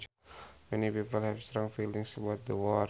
Many people have strong feelings about the war